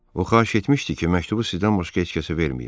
O xahiş etmişdi ki, məktubu sizdən başqa heç kəsə verməyim.